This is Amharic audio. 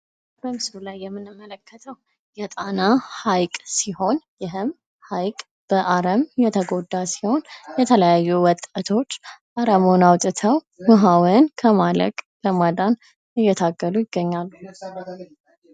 በምስሉ ላይ የምንመለከተው የጣና ሃይቅ ሲሆን ይህም ሀይቅ በአረም የተጎዳ ሲሆን የተለያዩ ወጣቶች አረሙን አውጥተው ውሃውን ከማለቅ ለማዳን እየታገሉ ይገኛሉ ።